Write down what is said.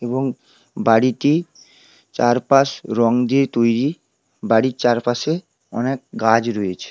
এবং